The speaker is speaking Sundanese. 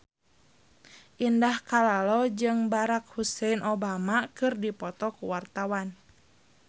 Indah Kalalo jeung Barack Hussein Obama keur dipoto ku wartawan